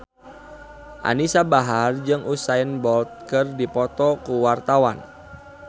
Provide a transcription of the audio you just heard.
Anisa Bahar jeung Usain Bolt keur dipoto ku wartawan